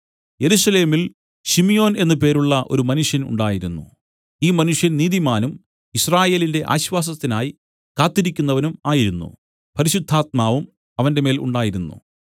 യെരൂശലേമിൽ ശിമ്യോൻ എന്നു പേരുള്ള ഒരു മനുഷ്യൻ ഉണ്ടായിരുന്നു ഈ മനുഷ്യൻ നീതിമാനും യിസ്രായേലിന്റെ ആശ്വാസത്തിനായി കാത്തിരിക്കുന്നവനും ആയിരുന്നു പരിശുദ്ധാത്മാവും അവന്റെമേൽ ഉണ്ടായിരുന്നു